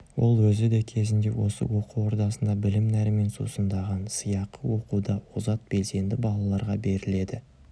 ол өзі де кезінде осы оқу ордасында білім нәрімен сусындаған сыйақы оқуда озат белсенді балаларға беріледі